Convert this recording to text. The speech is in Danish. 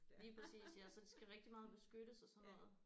Lige præcis ja så de skal rigtig meget beskyttes og sådan noget